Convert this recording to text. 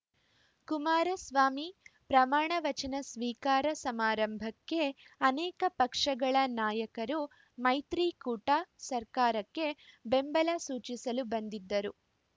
ಕುಮಾರಸ್ವಾಮಿ ಪ್ರಮಾಣ ವಚನ ಸ್ವೀಕಾರ ಸಮಾರಂಭಕ್ಕೆ ಅನೇಕ ಪಕ್ಷಗಳ ನಾಯಕರು ಮೈತ್ರಿಕೂಟ ಸರ್ಕಾರಕ್ಕೆ ಬೆಂಬಲ ಸೂಚಿಸಲು ಬಂದಿದ್ದರು